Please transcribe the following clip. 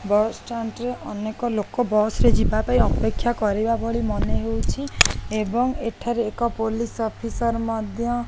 bus stand ରେ ଅନେକ ଲୋକ ବସ୍ ରେ ଯିବା ପାଇଁ ଅପେକ୍ଷା କରିବା ଭରି ମନେହେଉଛି ଏବଂ ଏଠାରେ ଏକ ପୋଲିସ ଅଫିସର୍ ମଧ୍ୟ--